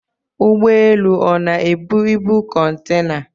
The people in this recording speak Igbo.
Ụgbọelu ọ na-ebu ibu kọntena?